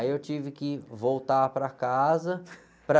Aí eu tive que voltar para casa para...